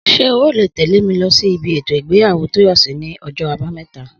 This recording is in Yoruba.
Sé o ó lè tèlé mi lo sí ibi ètò ìgbéyàwó Tóyòsí ní ojó Àbáméta?